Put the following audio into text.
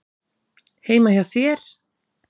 Heima hjá þér?